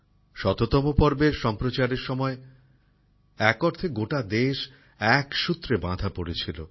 শততম পর্বের সম্প্রচারের সময় এক অর্থে গোটা দেশ এক সূত্রে বাঁধা পড়েছিল